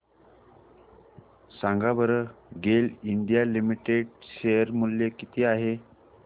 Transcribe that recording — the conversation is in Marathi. सांगा बरं गेल इंडिया लिमिटेड शेअर मूल्य किती आहे